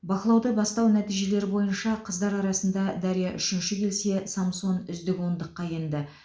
бақылауды бастау нәтижелері бойынша қыздар арасында дарья үшінші келсе самсон үздік ондыққа енді